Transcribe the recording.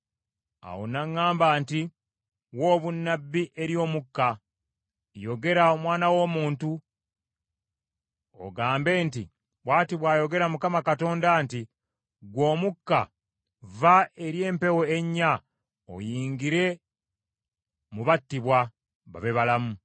Awo n’aŋŋamba nti, “Wa obunnabbi eri omukka; yogera omwana w’omuntu, ogambe nti, ‘Bw’ati bw’ayogera Mukama Katonda nti, Ggwe omukka vva eri empewo ennya, oyingire mu battibwa, babe balamu.’ ”